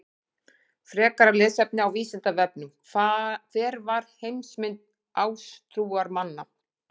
Frekara lesefni á Vísindavefnum: Hver var heimsmynd ásatrúarmanna?